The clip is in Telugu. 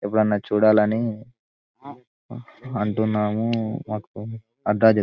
ఎప్పుడైనా చూడాలని అంటున్నాము మాకు అడ్రెస్ చెపు --